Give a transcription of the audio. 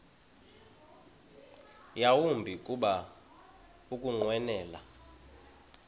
yawumbi kuba ukunqwenela